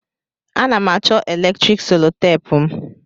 A na'm acho eletrik solotape'm.